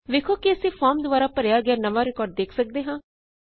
ਵੇੱਖੋ ਕੀ ਅਸੀਂ ਫੋਰਮ ਦੁਆਰਾ ਭਰਿਆ ਗਿਆ ਨਵਾਂ ਰਿਕਾਰਡ ਵੇਖ ਸਕਦੇ ਹਾਂ